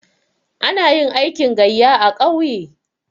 Ana yin aikin gayya a ƙauye.